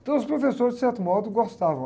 Então os professores, de certo modo, gostavam.